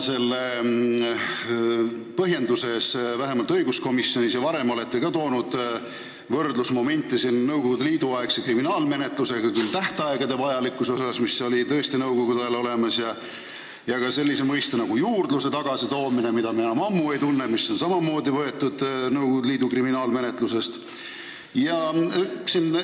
Te olete vähemalt õiguskomisjonis ja ka varem oma põhjenduses toonud võrdlusmomente Nõukogude Liidu aegse kriminaalmenetlusega: tähtaegade vajalikkus, mis olid tõesti nõukogude ajal olemas, aga ka sellise mõiste nagu "juurdlus" tagasitoomine, mida me enam ammu ei tunne ja mis on samamoodi Nõukogu Liidu kriminaalmenetlusest võetud.